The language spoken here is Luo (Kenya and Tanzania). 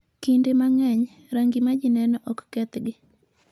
Kinde mang'eny, rangi ma ji neno ok kethgi.